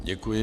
Děkuji.